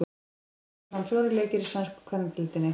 Í dag fara fram fjórir leikir í sænsku kvennadeildinni.